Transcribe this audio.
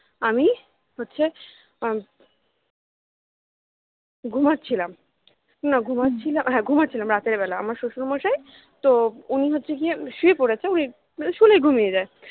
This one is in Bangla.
আমি হচ্ছে ঘুমাচ্ছিলাম না ঘুমাচ্ছিলাম হ্যা ঘুমাচ্ছিলাম রাতের বেলা আমার শশুর মশাই তো উনি হচ্ছে গিয়ে শুয়ে পড়েছে উনি শুলেই ঘুমিয়ে যায়